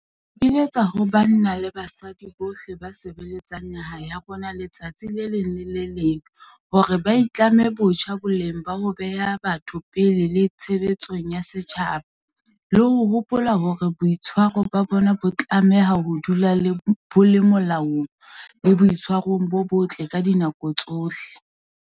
Re ipiletsa ho banna le basadi bohle ba sebeletsang naha ya rona letsatsi le leng le le leng hore ba itlame botjha boleng ba ho beha batho pele le tshebeletsong ya setjhaba, le ho hopola hore boitshwaro ba bona bo tlameha ho dula bo le molaong le boitshwarong bo botle ka dinako tsohle.